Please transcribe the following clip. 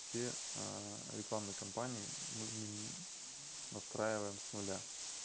все рекламные кампании мы настраиваем с нуля